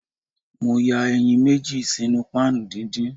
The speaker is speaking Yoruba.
Mo ya eyin meji sinu pan didin.